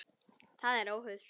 Það er óhollt.